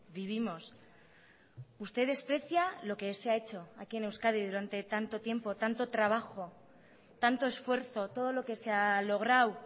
vivimos usted desprecia lo que se ha hecho aquí en euskadi durante tanto tiempo tanto trabajo tanto esfuerzo todo lo que se ha logrado